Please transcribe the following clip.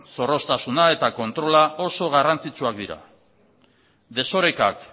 zorroztasuna eta kontrola oso garrantzitsuak dira desorekak